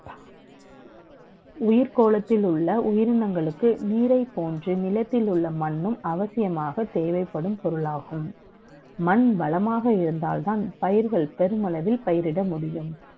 உயிர்க்கோளத்தில் உள்ள உயிரினங்களுக்கு நீரை போன்று நிலத்தை உள்ள மண்ணும் அவசியமாக தேவைப்படும் பொருளாகும் மண் வளமாக இருந்தால் தான் பயிர்கள் பெருமளவில் பயிரிட முடியும்